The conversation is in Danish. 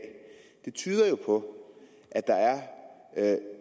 det tyder jo på at der er